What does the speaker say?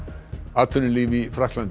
atvinnulíf í Frakklandi